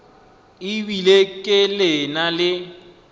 e bile ke na le